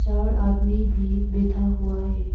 चार आदमी भी बैठा हुआ है।